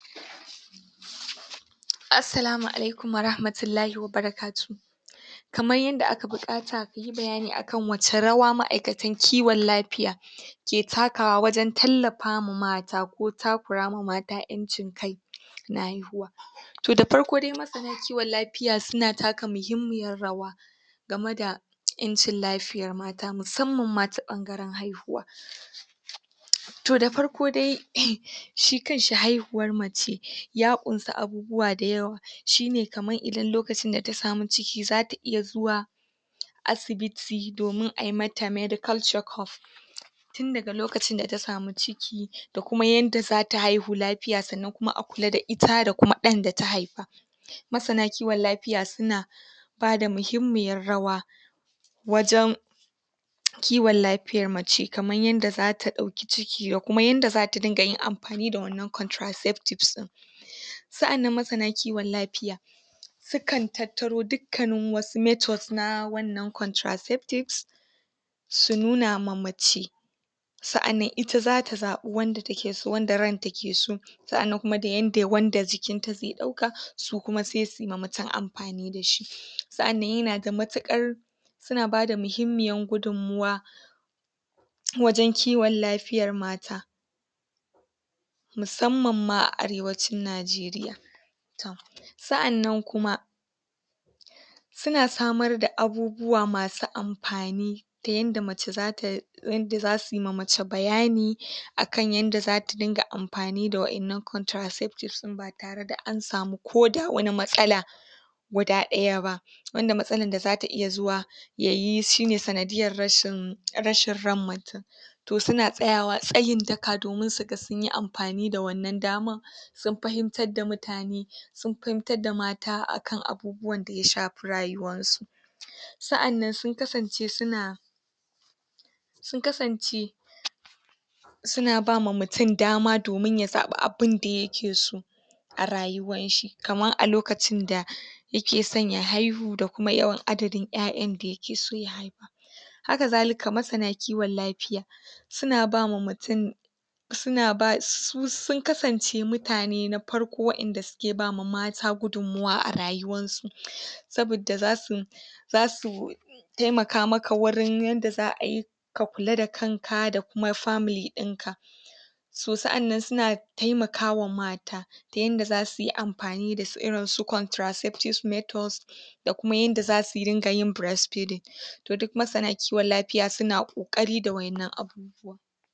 Assalamu alaikum wa rahmatullahi wa barakatuhu kamar yadda aka buƙata mu yi bayani akan wace rawa ma’aikatan kiwon lafiya ke takawa wajen tallafa ma mata ko takurama mata ƴancin kai na haihuwa To da farko dai masana kiwon lafiya suna taka muhimmiyar rawa game da ƴancin lafiyar mata musamman ma ta ɓangaren haihuwa To da farko dai eh shi kanshi haihuwar mace ya ƙunsa abubuwa da yawa shi ne kamar idan lokacin da ta samu ciki, zata iya zuwa asibiti domin a yi mata medical check-up (duba lafiya), tun daga lokacin da ta samu ciki, da kuma yadda zata haihu lafiya, sannan kuma a kula da ita da kuma ɗan da ta haifa masana kiwon lafiya suna bada muhimmiyar rawa wajen kiwon lafiyar mace, kamar yadda zata ɗauki ciki da kuma yadda zata dinga yin amfani da wannan contraceptives ɗin Sa’annan masana kiwon lafiya sukan tattaro dukkanin wasu methods na wannan contraceptives su nuna ma mace sa’annan ita zata zaɓi wanda take so, wanda ranta ke so sa’annan kuma da yadda wanda jikinta zai ɗauka su kuma sai su yi ma mutum amfani da shi sa’annan yana da matuƙar suna bada muhimmiyar gudummawa wajen kiwon lafiyar mata musamman ma a Arewacin Nijeriya tom sa’annan kuma, suna samar da abubuwa masu amfani ta yadda mace, yadda zasu yima mace bayani akan yadda zata dinga amfani da wa’innan contraceptives ɗin ba tare da an samu koda wani matsala guda ɗaya ba wanda matsalan da zata iya zuwa ya yi shi ne sanadiyyar rashin ran mutum to suna tsayawa tsayin daka domin su yi amfani da wannan daman sun fahimtar da mutane sun fahimtar da mata akan abubuwan da ya shafi rayuwansu Sa’annan sun kasance suna sun kasance suna bama mutum dama domin ya zaɓi abin da yake so a rayuwanshi, kamar a lokacin da yake son ya haihu, da kuma yawan adadin ƴaƴan da yake so ya haifa Hakazalika masana kiwon lafiya suna bawa mutum su sun kasance mutane na farko wa’inda suke bama mata gudummawa a rayuwansu saboda zasu zasu taimaka maka wurin yadda za a yi ka kula da kanka da kuma family ɗinka So, sa’annan suna taimakawa mata wurin yadda zaka yi ka kula da kanka da kuma family ɗinka. So, sa’annan suna taimakawa mata ta yanda zasu yi amfani da irin su contraceptives methods da kuma yadda zasu riƙa yin breastfeeding